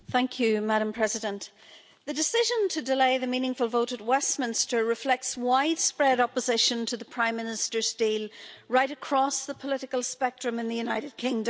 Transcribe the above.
Madam President, the decision to delay the meaningful vote at Westminster reflects widespread opposition to the Prime Minister's deal right across the political spectrum in the United Kingdom.